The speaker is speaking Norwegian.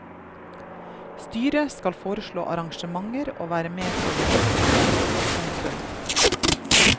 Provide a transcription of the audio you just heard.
Styret skal foreslå arrangementer og være med på å gjennomføre dem. punktum